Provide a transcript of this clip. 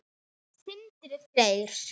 Sindri Freyr.